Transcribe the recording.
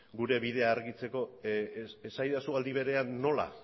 gure bidea argitzeko esadazu aldi berean nola